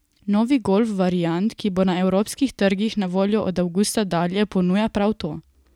Novi golf variant, ki bo na evropskih trgih na voljo od avgusta dalje, ponuja prav to.